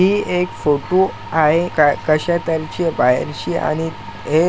ही एक फोटो आहे का-- त्यांची बाहेर चे आणि हे --